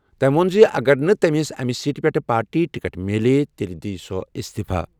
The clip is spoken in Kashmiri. تٔمۍ ووٚن زِ اگر نہٕ تٔمِس سیٹ پٮ۪ٹھ پارٹی ٹکٹ مِلٮ۪و تیٚلہِ کَرِ سۄ اِستِفہٕ۔